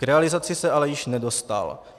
K realizaci se ale již nedostal.